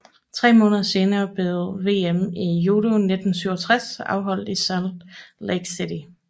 Tre måneder senere blev VM i judo 1967 afholdt i Salt Lake City